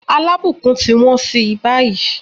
Alábùkún ti wọ́n sí báyìí.